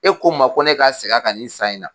E ko n ma ko ne ka segin kan nin san in na